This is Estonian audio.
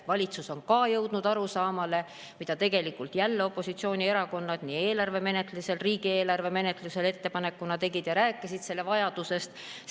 Valitsus on ka jõudnud sellele arusaamale, mille tegelikult jälle opositsioonierakonnad riigieelarve menetlusel ettepanekuna esitasid ja mille vajadusest rääkisid.